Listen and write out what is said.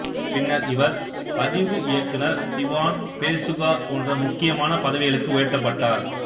பின்னர் இவர் பதிவு இயக்குநர் திவான் பேசுகார் போன்ற முக்கியமான பதவிகளுக்கு உயர்த்தப்பட்டார்